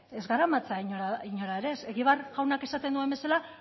ez garamatza inora ere ez egibar jaunak esaten duen bezala